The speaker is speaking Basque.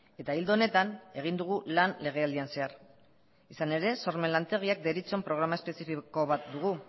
eta ildo honetan egin dugu lan legealdian zehar izan ere sormen lantegiak deritzon programa espezifiko bat dugu